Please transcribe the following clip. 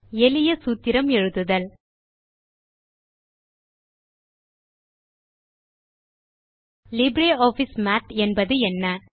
எளிய சூத்திரம் எழுதுதல் லிப்ரியாஃபிஸ் மாத் என்பது என்ன